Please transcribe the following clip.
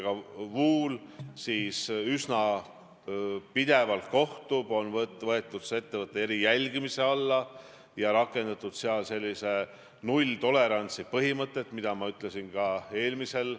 Ma arvan, et tänane koalitsioon, kus on kaks konservatiivset erakonda ja kus on vasaktsentristlik erakond, esindab väga selgelt Eesti elanike laiapõhjalist valikut viimastel valimistel.